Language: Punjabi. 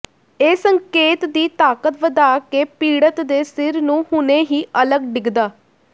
ਇਹ ਸੰਕੇਤ ਦੀ ਤਾਕਤ ਵਧਾ ਕੇ ਪੀੜਤ ਦੇ ਸਿਰ ਨੂੰ ਹੁਣੇ ਹੀ ਅਲੱਗ ਡਿੱਗਦਾ